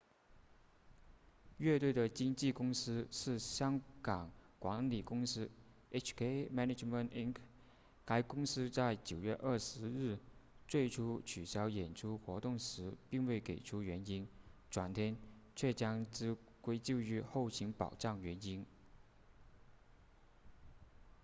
乐队的经纪公司是香港管理公司 hk management inc 该公司在9月20日最初取消演出活动时并未给出原因转天却将之归咎于后勤保障原因